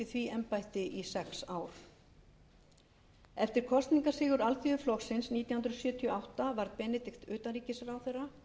því embætti í sex ár eftir kosningasigur alþýðuflokksins nítján hundruð sjötíu og átta varð benedikt utanríkisráðherra